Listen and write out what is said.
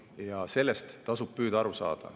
Ja sellest tasub püüda aru saada.